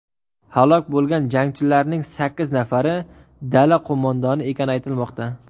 Halok bo‘lgan jangarilarning sakkiz nafari dala qo‘mondoni ekani aytilmoqda.